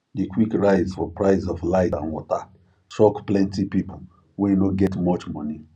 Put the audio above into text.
the quick rise for price of light and water shock plenty people wey no get much money